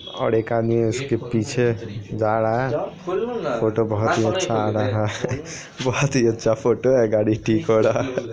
और एक आदमी उसके पीछे जा रहा है फोटो बहुत ही अच्छा आ रहा है बहुत ही अच्छा फोटो गाड़ी ठीक वाला--